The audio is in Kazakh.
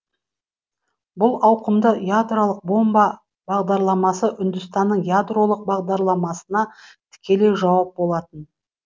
бұл ауқымды ядролық бомба бағдарламасы үндістанның ядролық бағдарламасына тікелей жауап болатын